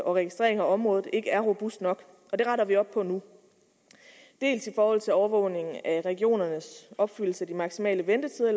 og registreringen af området ikke er robust nok og det retter vi op på nu dels i forhold til overvågning af regionernes opfyldelse af de maksimale ventetider